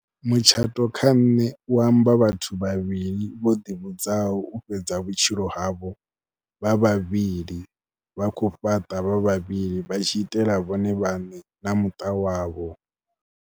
Mutshato kha nṋe u amba vhathu vhavhili vho ḓivhudzaho u fhedza vhutshilo havho vha vhavhili, vha khou fhaṱa vha vhavhili vha tshi itela vhone vhaṋe na muṱa wavho.